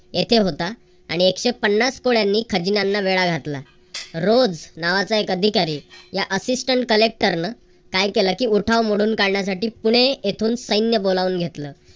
येथे होता आणि एकशे पन्नास कोळ्यांनी खजिन्याला वेढा घातला. रोझ नावाचा एक अधिकारी या assistant collector न काय केलं की उठाव मोडून काढण्यासाठी पुणे येथून सैन्य बोलावून घेतलं.